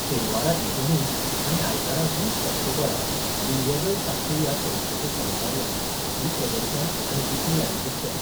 शेनवारा एकुणीस आनी आयतारा वीस ऑक्टोंबराक बिल्वदल सांखळी ह्या संस्थेच्या सहकार्यान ही प्रकदर्शन आनी विक्री आयोजित केल्या.